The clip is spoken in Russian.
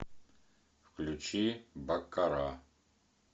включи баккара